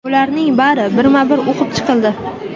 Ularning bari birma-bir o‘qib chiqildi.